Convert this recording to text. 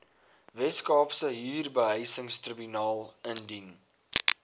weskaapse huurbehuisingstribunaal indien